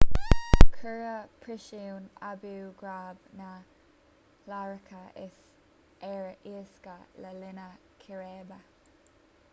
cuireadh príosún abu ghraib na hiaráice ar lasadh le linn círéibe